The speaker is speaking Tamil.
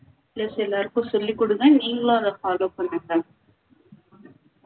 plus எல்லாருக்கும் சொல்லி கொடுங்க நீங்களும் அதை follow பண்ணுங்க